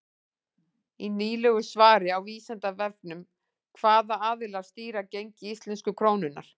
Í nýlegu svari á Vísindavefnum Hvaða aðilar stýra gengi íslensku krónunnar?